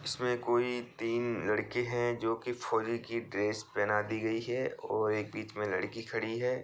इसमें कोई तीन लड़के हैं जो कि फौजी की ड्रेस पहना दी गई है और एक बीच में लड़की खड़ी है।